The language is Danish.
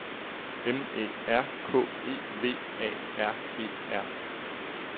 M Æ R K E V A R E R